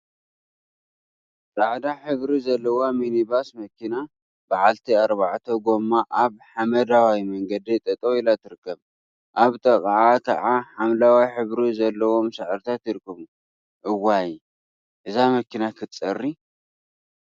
ፃዕዳ ሕብሪ ዘለዋ ሚኒ ባስ መኪና በዓልቲ አርባዕተ ጎማ አብ ሓመደዋይ መንገዲ ጠጠው ኢላ ትርከብ፡፡ አብ ጥቅአ ከዓ ሓምለዋይ ሕብሪ ዘለዎም ሳዕሪታት ይርከቡ፡፡ እዋይ! እዛ መኪና ክትፀሪ፡፡